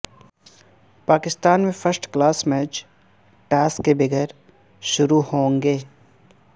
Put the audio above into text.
پاکستان میں first class match toss کے بغیر شروع ہوں گے